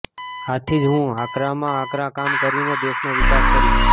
આથી જ હું આકરામાં આકરા કામ કરીને દેશનો વિકાસ કરીશ